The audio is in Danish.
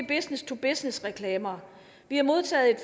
business to business reklamer vi har modtaget et